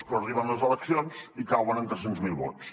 però arriben les eleccions i cauen en tres cents miler vots